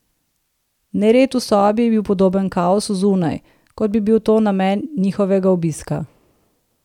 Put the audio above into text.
Nered v sobi je bil podoben kaosu zunaj, kot bi bil to namen njihovega obiska ...